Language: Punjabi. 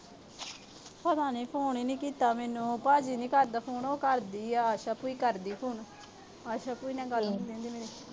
ਪਤਾ ਨੀ phone ਈ ਨੀ ਕੀਤਾ ਮੈਨੂੰ। ਭਾਜੀ ਨੀ ਕਰਦਾ phone ਉਹ ਕਰਦੀ ਆ। ਅਹ ਆਸ਼ਾ ਭੁਈ ਕਰਦੀ ਆ phone ਆਸ਼ਾ ਭੁਈ ਨਾਲ ਗੱਲ ਹੁੰਦੀ ਆ ਮੇਰੀ।